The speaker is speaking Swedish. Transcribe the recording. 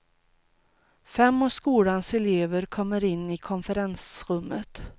Fem av skolans elever kommer in i konferensummet.